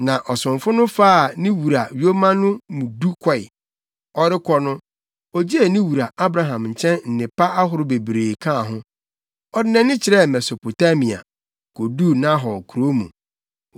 Na, ɔsomfo no faa ne wura yoma no mu du kɔe. Ɔrebɛkɔ no, ogyee ne wura Abraham nkyɛn nnepa ahorow bebree kaa ho. Ɔde nʼani kyerɛɛ Mesopotamia, koduu Nahor kurow mu.